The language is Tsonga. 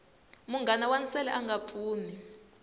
munghana wa nsele anga pfuni